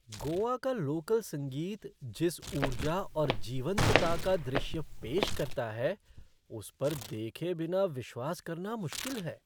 गोवा का लोकल संगीत जिस ऊर्जा और जीवंतता का दृश्य पेश करता है उस पर देखे बिना विश्वास करना मुश्किल है।